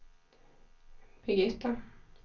Birgitta